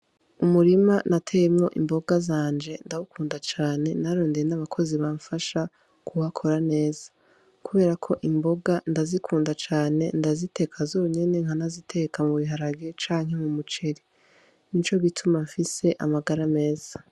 Umurima nateyemwo imboga zanje, ndawukunda cane, nararondeye nabakozi bamfasha kuhakora neza, kuberako imboga ndazikunda cane, ndaziteka zonyene, nkanaziteka mu biharage canke m'umuceri nico gituma mfise amagara meza.